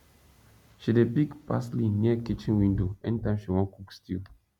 she dey pick parsley near kitchen window anytime she wan cook stew